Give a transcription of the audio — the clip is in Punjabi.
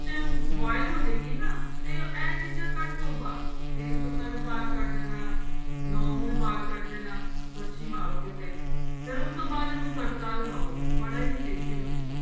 ਜਿਸ time boil ਹੋ ਜਾਏਗੀ ਨਾ ਤੇ ਏਹ ਚੀਜ਼ਾਂ ਕੱਢ ਦੋ ਬਹਾਰ ਤੇਜ ਪੱਤਾਂ ਵੀ ਬਹਾਰ ਕੱਢ ਦੇਣਾ ਲੋਂਗ ਵੀ ਬਹਾਰ ਕੱਢ ਦੇਣਾ ਕੱੜਛੀ ਮਾਰੋ ਗਏ ਤੇ ਫ਼ਿਰ ਉਸ ਤੋ ਬਾਅਦ ਇਹਨੂੰ ਤੜਕਾ ਲਗਾਉ ਬੜਾ ਹੀ tasty ਬਣੇਗੇ